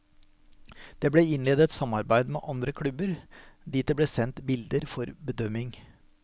Det ble innledet samarbeid med andre klubber, dit det ble sendt bilder for bedømming.